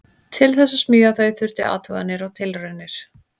Til þess að smíða þau þurfti athuganir og tilraunir.